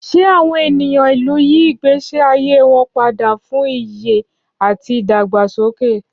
Ṣé àwọn ènìyàn ìlú yí ìgbésí ayé wọn padà fún ìyè àti ìdàgbàsókè?